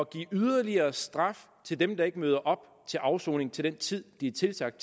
give yderligere straf til dem der ikke møder op til afsoning til den tid de er tilsagt